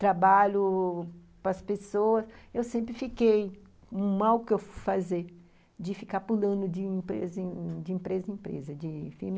trabalho com as pessoas, eu sempre fiquei com o mal que eu fui fazer de ficar pulando de empresa em empresa, de firma